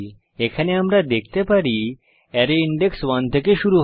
এখানে আমরা দেখতে পারি অ্যারে সূচক 1 থেকে শুরু হয়